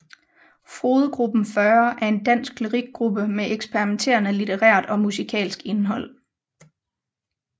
Frodegruppen40 er en dansk lyrikgruppe med eksperimenterende litterært og musikalsk indhold